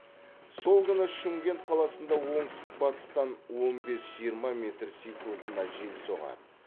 сол күні шымкент қаласында оңтүстік батыстан он бес жиырма метр секундына жел соғады